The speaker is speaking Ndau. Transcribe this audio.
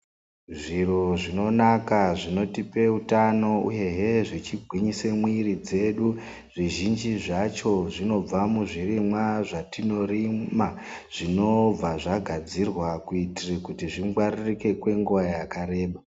Zviro zvinonaka zvinotipe wutano uyehe zvichigwinyise mwiri dzedu. Zvizhinji zvacho zvinobva muzvirimwa zvatinorima. Zvinobva zvagadzirwa kuitire kuti zvingwaririke kwenguwa yakareba.